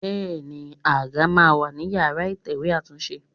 Bẹẹni, àga máa ń wà ní ìyára ìtẹ̀wẹ́ àtúnṣe.